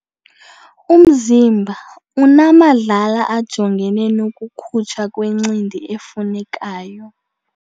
Umzimba unamadlala ajongene nokukhutshwa kwencindi efunekayo.